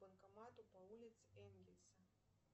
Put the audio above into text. банкоматы по улице энгельса